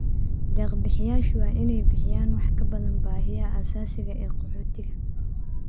Deeq-bixiyeyaashu waa inay bixiyaan wax ka badan baahiyaha aasaasiga ah ee qaxootiga.